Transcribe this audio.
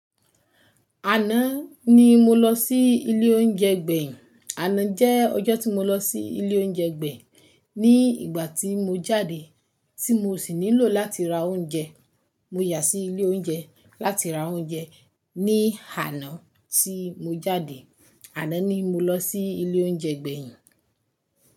Àná ni mo lọ sí ilé oúnjẹ gbẹ̀yìn. Àná jẹ́ ọjọ́ tí mo lọ sí ilé oúnjẹ gbẹ̀yìn. Ní ìgbà tí mo jáde tí mo sì nílò láti ra oúnjẹ, mo yà sí ilé oúnjẹ láti ra oúnjẹ. Ní àná tí mo jáde, àná ni mo lọ sí ilé oúnjẹ gbẹ̀yìn.